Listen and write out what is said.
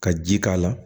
Ka ji k'a la